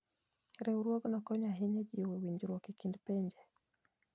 Riwruogno konyo ahinya e jiwo winjruok e kind pinje.